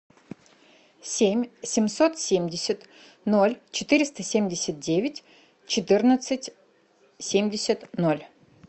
семь семьсот семьдесят ноль четыреста семьдесят девять четырнадцать семьдесят ноль